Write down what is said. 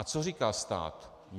A co říká stát?